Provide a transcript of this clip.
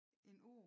En år